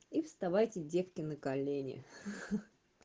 и вставайте девки на колени